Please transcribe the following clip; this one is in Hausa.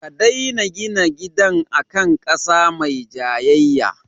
Ka dena gina gidan a kan ƙasa mai jayayya